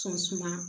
Sɔn suma